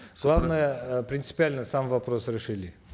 главное э принципиально сам вопрос решили